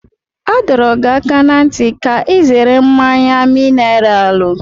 A dọrọ gị aka ná ntị ka ị zere mmanya mineralu.